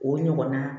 O ɲɔgɔnna